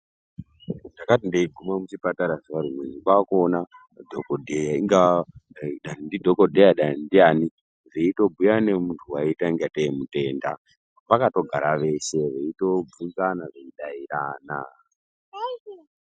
Ndakati ndeigume muchipatara zuwa rimweni kwakuone dhokodheya inga dai ndidhokodheya dai ndiani veitobhuya ngemuntu waiita ngatei mitenda , vakatogara veshe veitobvunzana veidarana.